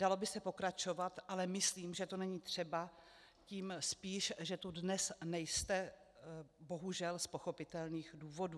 Dalo by se pokračovat, ale myslím, že to není třeba, tím spíš, že tu dnes nejste, bohužel, z pochopitelných důvodů.